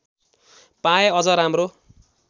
पाए अझ राम्रो